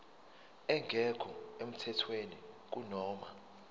engekho emthethweni kunoma